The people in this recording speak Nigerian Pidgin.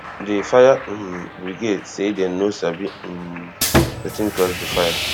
di fire um brigade say dem no sabi um wetin cause di fire